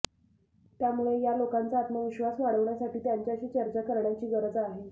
त्यामुळे या लोकांचा आत्मविश्वास वाढवण्यासाठी त्यांच्याशी चर्चा करण्याची गरज आहे